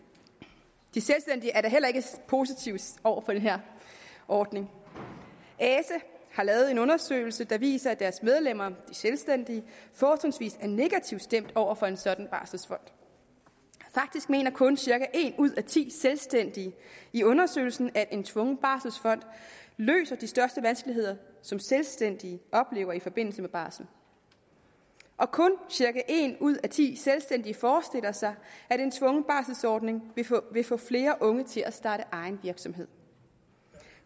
er da heller ikke positive over for den her ordning ase har lavet en undersøgelse der viser at deres medlemmer de selvstændige fortrinsvis er negativt stemt over for en sådan barselsfond faktisk mener kun cirka en ud af ti selvstændige i undersøgelsen at en tvungen barselsfond løser de største vanskeligheder som selvstændige oplever i forbindelse med barsel og kun cirka en ud af ti selvstændige forestiller sig at en tvungen barselsordning vil få flere unge til at starte egen virksomhed